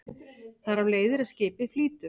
Þar af leiðir að skipið flýtur.